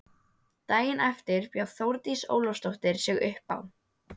Daginn eftir bjó Þórdís Ólafsdóttir sig uppá.